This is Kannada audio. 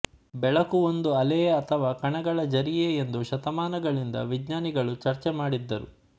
ಬೆಳಕು ಒಂದು ಅಲೆಯೇ ಅಥವಾ ಕಣಗಳ ಝರಿಯೇ ಎಂದು ಶತಮಾನಗಳಿಂದ ವಿಜ್ಞಾನಿಗಳು ಚರ್ಚೆ ಮಾಡಿದ್ದರು